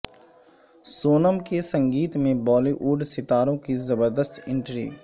سونم کے سنگیت میں Bollywood ستاروں کی زبردست انٹری